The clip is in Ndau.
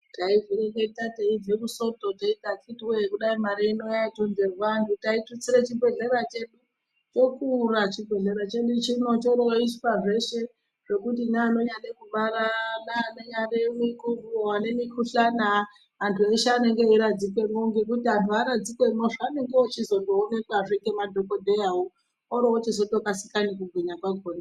Taizvireketa teibva kusoto teiti vakhiti wee kudai mari inoyaitonherwa taitutsire chibhedhlera chedu chokuraa chibhedhlera chedu chino, choroiswa zveshe zvekuti nevanonyade kubara ,nevane mukhuhlani, antu eshe anenge eiradzikweni, nekuti vantu waradzikwemo vanenge vachizotoonekwaazvee nemadhokodheyawo, oro ochizotokasira nekugwinya kwakona.